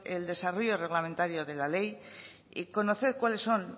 el desarrollo reglamentario de la ley y conocer cuáles son